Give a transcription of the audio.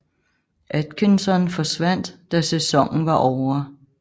Atkinson forsvandt da sæsonen var ovre